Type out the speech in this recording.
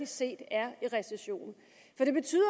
set er i recession det betyder